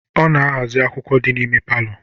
Ọ na-aghazi akwukwọ dị n'ime palọ